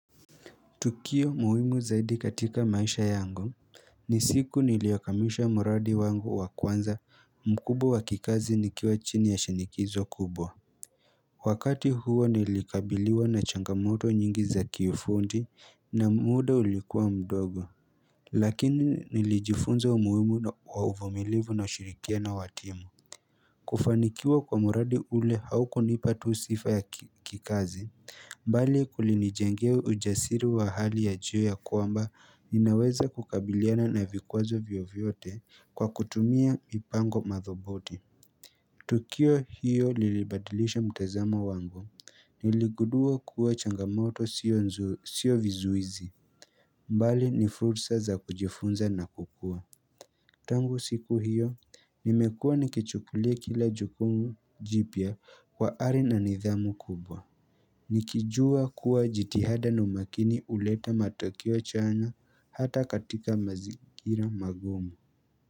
Tukio muhimu zaidi katika maisha yangu ni siku niliyakamisha muradi wangu wa kwanza mkubwa wa kikazi nikiwa chini ya shinikizo kubwa Wakati huo nilikabiliwa na changamoto nyingi za kiufundi na muda ulikuwa mdogo Lakini nilijifunza umuhimu wa uvumilivu na ushirikiano wa timu kufanikiwa kwa muradi ule haukunipa tu sifa ya kikazi mbali kulini jengea ujasiri wa hali ya jio ya kwamba, ninaweza kukabiliana na vikwazo vyovyote kwa kutumia mipango madhubuti. Tukio hiyo lilibadilisha mtazamo wangu. Niligudua kuwa changamoto sio vizuizi. Mbali ni fursa za kujifunza na kukua. Tangu siku hiyo, nimekua nikichukulia kila jukumu jipya kwa hali na nidhamu kubwa Nikijua kuwa jitihada na umakini huleta matokeo chanya hata katika mazingira magumu.